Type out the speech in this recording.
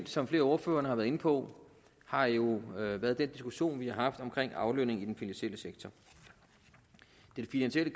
som flere af ordførerne har været inde på har jo været den diskussion vi har haft om aflønningen i den finansielle sektor den finansielle